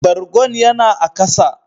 Bargon ya na a kasa.